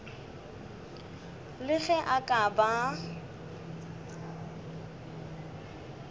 le ge a ka ba